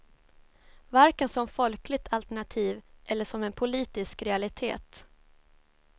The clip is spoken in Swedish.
Varken som folkligt alternativ eller som en politisk realitet.